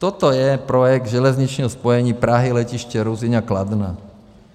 Toto je projekt železničního spojení Prahy - Letiště Ruzyně a Kladna.